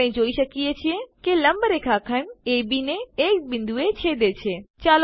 આપણે જોઈએ છીએ કે લંબરેખા ખંડ અબ ને એક બિંદુએ છેદે છે